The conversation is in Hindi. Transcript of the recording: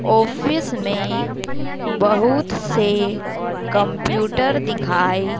ऑफिस में बहुत से कम्प्यूटर दिखाई--